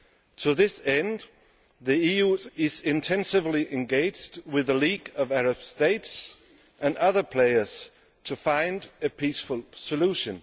To this end, the EU is intensively engaged with the League of Arab States and other players to find a peaceful solution.